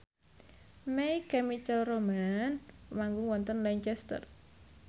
My Chemical Romance manggung wonten Lancaster